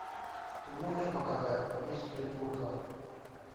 ты можешь показать месть придурков